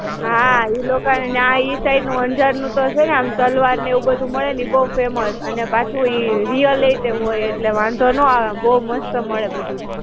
હાં, ઈ લોકોને ન્યાં ઈ side નું અંજાર નું તો છે ને આમ તલવાર ને એવું બધું મળે ને ઈ બહું famous અને પાછું ઈ real it એવું હોય એટલે વાંધો નો આવે. બહું મસ્ત મળે બધું.